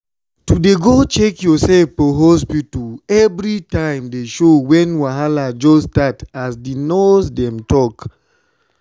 to dey go check yoursef for hospta everi time dey show wen wahala just start as di nurse dem talk